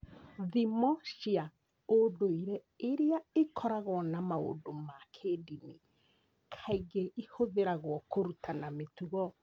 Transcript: Thimo cia ũndũire iria ikoragwo na maũndũ ma kĩĩndini kaingĩ ihũthagĩrũo kũrutana mĩtugo.